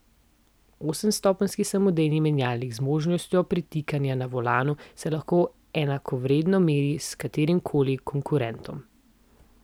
Osemstopenjski samodejni menjalnik z možnostjo pretikanja na volanu se lahko enakovredno meri s katerimkoli konkurentom.